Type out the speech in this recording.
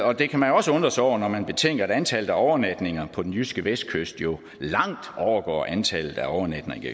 og det kan man også undre sig over når man betænker at antallet af overnatninger på den jyske vestkyst jo langt overgår antallet af overnatninger i